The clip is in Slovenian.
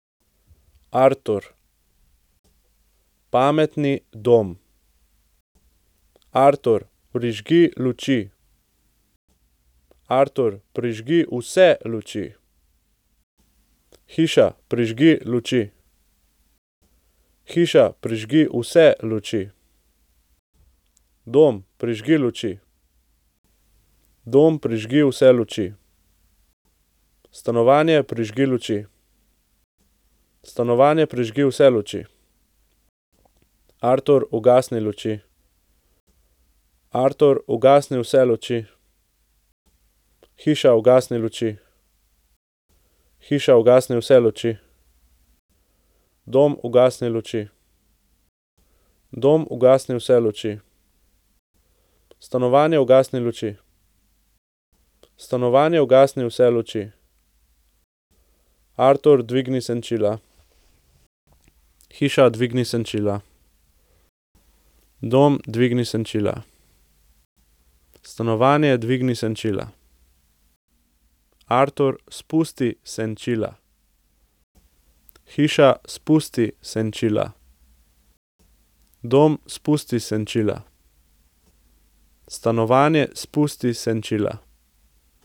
Artur. Pametni dom. Artur, prižgi luči. Artur, prižgi vse luči. Hiša, prižgi luči. Hiša, prižgi vse luči. Dom, prižgi luči. Dom, prižgi vse luči. Stanovanje, prižgi luči. Stanovanje, prižgi vse luči. Artur, ugasni luči. Artur, ugasni vse luči. Hiša, ugasni luči. Hiša, ugasni vse luči. Dom, ugasni luči. Dom, ugasni vse luči. Stanovanje, ugasni luči. Stanovanje, ugasni vse luči. Artur, dvigni senčila. Hiša, dvigni senčila. Dom, dvigni senčila. Stanovanje, dvigni senčila. Artur, spusti senčila. Hiša, spusti senčila. Dom, spusti senčila. Stanovanje, spusti senčila.